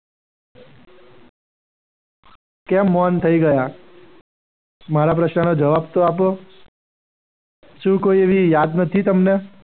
કેમ મૌન થઈ ગયા? મારા પ્રશ્નનો જવાબ તો આપો. શું કોઈ એવી યાદ નથી તમને?